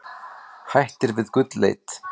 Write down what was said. Hættir við gullleit